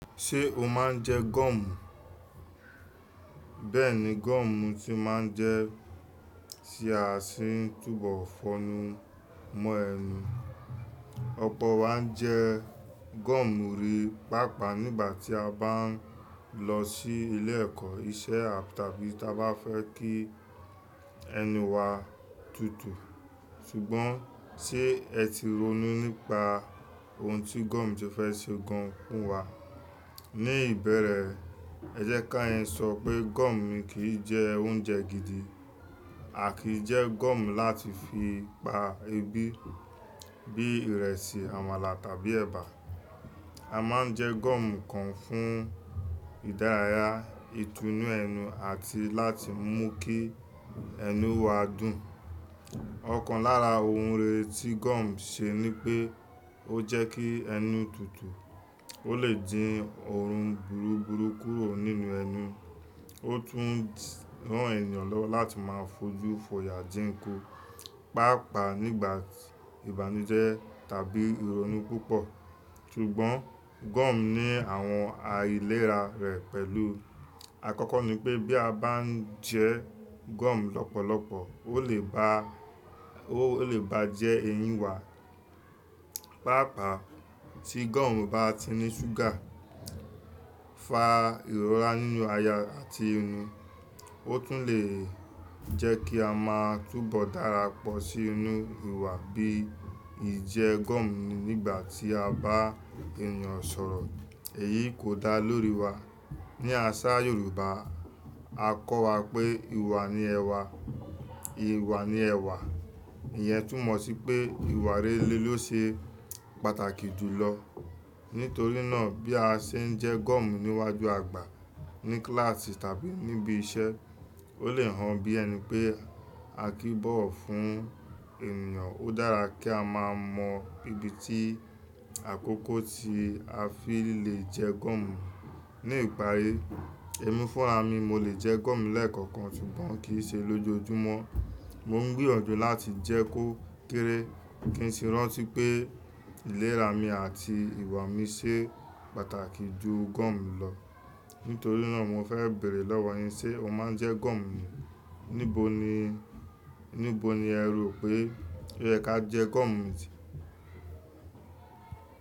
Ṣé o máa ń jẹ gum? Bẹ́ẹ̀ni gum ti máa ń jẹ tí a sì ń túbọ̀ fọnu mọ́ ẹnu. Ọ̀pọ̀ wa ń jẹ gum rí, pàápàá nígbà tí a bá ń lọ sí ilé-ẹ̀kọ́, iṣẹ́ àbí ta bá fẹ́ kí ẹnu wa tutu. Ṣùgbọ́n ṣe ẹ ti rònú nípa ohun tí gum ti ẹ fẹ́ ṣe gan fún wa? Ní ìbẹ̀rẹ̀, ẹ jẹ́ ká yẹn sọ pé gum kì í jẹ oúnjẹ gidi. A kì í jẹ gum láti fi pa ebi bí ìrẹsì, àmàlà, tàbí ẹ̀bà. A máa ń jẹ gum kan fún ìdárayá, Ìtúnu ẹnu àti láti mú kí ẹnu wa dùn. Ọ̀kan lára ohun rere tí gum ṣe ni pé o jẹ́ kí ẹnu tutu. Ó lè dín òórun burúburú kúrò nínú ẹnu. Ó tún rán ènìyàn lọ́wọ́ láti máa fojú fọ̀yà dínkù, pàápàá nígbà ìbànújẹ́ tàbí ìrònú púpọ̀. Ṣùgbọ́n gum ní àwọn aìlera rẹ pẹ̀lú. Àkọ́kọ́ ni pé bí a bá ń jẹ gum lọ́pọ̀lọpọ̀, ó lè bajẹ́ eyín wa. Pàápàá tí gum bá ti ní ṣúgà fa ìrora nínú aya àti ẹnu. Ó tún lè jẹ́ kí a máa túbọ̀ darapọ̀ sí inú ìwà bí i jẹ gum nígbà tí a bá ènìyàn sọ̀rọ̀. Èyí kò dá lórí wa. Ni àṣà Yorùbá, a kọ́ wa pé ìwà ni ẹwà, ìwà ni ẹwà. Ìyẹn tún mọ̀ sí pé ìwà rere ló ṣe pàtàkì jù lọ. Nítorí náà bí a ṣe ń jẹ gum níwájú àgbà ní kíláàsì tàbí níbi iṣẹ́, ó lè hàn bí ẹni pé a kì í bọ̀wọ̀ fún ènìyàn. Ó dára kí a máa mọ ibi atí àkókò tí a fi le jẹ gum. Ní ìparí, èmi fúnra mi mo lè jẹ gum lẹ́ẹ̀kọ̀kan, ṣùgbọ́n kì í ṣe lójoojúmọ́. Mo ń gbìyànjú láti jẹ kó kéré kí n sì rántí pé ìlera mi àti ìwà mi ṣe pàtàkì ju gum lọ. Nítorí náà mo fẹ́ bèrè lọ́wọ́ yín, ṣe o máa ń jẹ gum ni? Níbo ní ẹ rò pé ó yẹ ká jẹ gum?